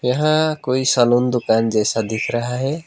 यहां कोई सैलून दुकान जैसा दिख रहा है।